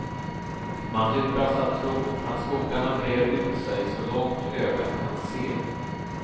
Man luras att tro att skogarna brer ut sig så långt ögat kan se.